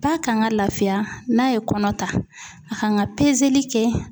Ba kan ka lafiya n'a ye kɔnɔ ta a kan ka kɛ.